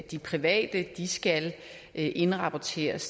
de private skal indrapporteres